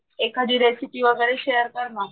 एखादी रेसिपी वगैरे शेरकरणा .